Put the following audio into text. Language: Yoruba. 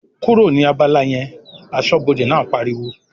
"kúrò ní abala yẹn!", aṣọ́bọdè náà pariwo